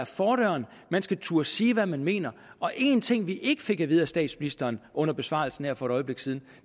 fordøren man skal turde sige hvad man mener en ting vi ikke fik at vide af statsministeren under besvarelsen her for et øjeblik siden